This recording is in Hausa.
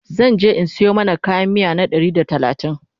zanje in Sayo mana kayan miya na Ɗari da talatin